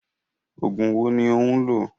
Oògùn wo ni ó ń lò?